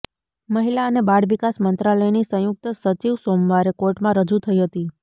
મહિલા અને બાળ વિકાસ મંત્રાલયની સંયુક્ત સચિવ સોમવારે કોર્ટમાં રજૂ થઈ હતી